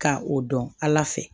Ka o dɔn ala fɛ